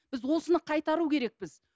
біз осыны қайтару керекпіз